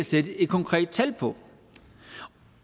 sætte et konkret tal på